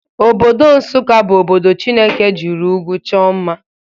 Obodo Nsụka bụ obodo Chineke jiri ụgwụ chọọ mma.